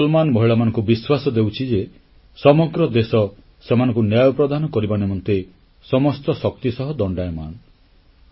ମୁଁ ମୁସଲମାନ୍ ମହିଳାମାନଙ୍କୁ ବିଶ୍ୱାସ ଦେଉଛି ଯେ ସମଗ୍ର ଦେଶ ସେମାନଙ୍କୁ ନ୍ୟାୟ ପ୍ରଦାନ କରିବା ନିମନ୍ତେ ସମସ୍ତ ଶକ୍ତି ସହ ଦଣ୍ଡାୟମାନ